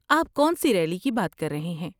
آپ کون سی ریلی کی بات کر رہے ہیں؟